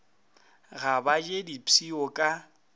ga ba je dipshio ka